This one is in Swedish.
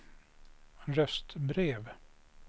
röstbrev